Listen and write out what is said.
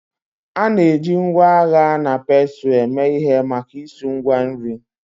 A na-eji ngwa agha na pestle eme ihe maka isu Ngwa nri